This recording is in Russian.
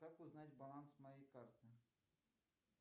как узнать баланс моей карты